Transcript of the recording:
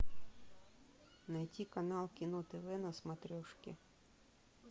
найти канал кино тв на смотрешке